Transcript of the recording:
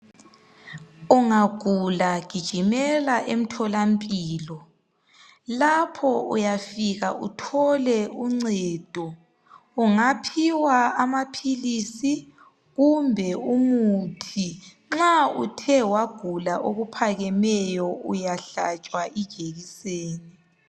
Ungagula gijimela emtholamphilo. Lapho uyafika uthole uncedo. Ungaphiwa amapilisi kumbe imithi Nxa uthe wagula okuphakemeyo uyahlatshwa ijekiseni.